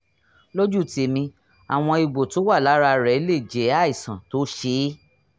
lójú tèmi àwọn egbò tó wà lára rẹ̀ lè jẹ́ àìsàn tó ṣe é